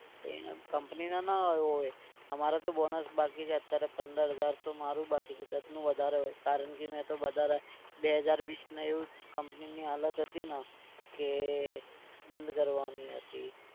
તો એના company ને ના આવ્યા હોય અમારે તો bonus બાકી છે અત્યારે પંદર હજાર તો મારું બાકી છે. દત્તનું વધારે હોય કારણ કે મેં તો વધારે બે હજાર વીસને એવું company ની હાલત હતી ને કે બંધ કરવાની હતી.